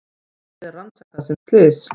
Málið er rannsakað sem slys